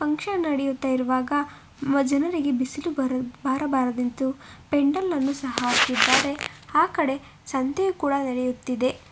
Function ನಡೆಯುತ್ತಾ ಇರುವಾಗ ಜನರಿಗೆ ಬಿಸಿಲು ಬರ ಬಾರದೆಂದು ಪೆಂಡಲ್ಲ ನ್ನು ಸಹ ಹಾಕಿದ್ದಾರೆ ಆ ಕಡೆ ಸಂತೆ ಕೂಡ ನಡೆಯುತ್ತಿದೆ.